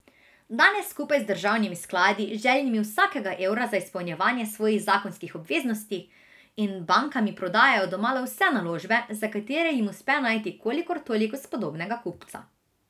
Danes skupaj z državnimi skladi, željnimi vsakega evra za izpolnjevanje svojih zakonskih obveznosti, in bankami prodajajo domala vse naložbe, za katere jim uspe najti kolikor toliko spodobnega kupca.